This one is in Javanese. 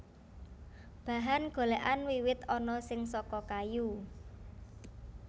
Bahan golèkan wiwit ana sing saka kayu